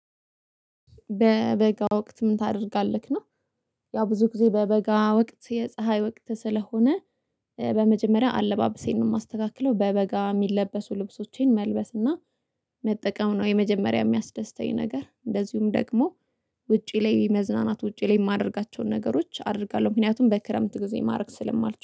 በበጋ ወቅት ምን ታደርጋለህ ነው? ያው ብዙ ጊዜ በበጋ ወቅት የፀሀይ ወቅት ስለሆነ። በመጀመሪያ አለባብሴን ነው ማስተካክለው በበጋ ሚለበሱ ልብሶቼን መልበስ እና መጠቀም ነው የመጀመሪያ የሚያስደስተኝ ነገር እንደዚሁም ደግሞ ውጪ ላይ መዝናናት ውጪ ላይ ማደርጋቸውን ነገሮች አደርጋለሁ። ምክንያቱም በክረምት ጊዜ ማድረግ ስለማልችል